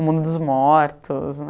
O mundo dos mortos